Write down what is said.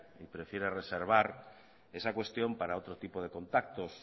y prefiere reservar esa cuestión para otro tipo de contactos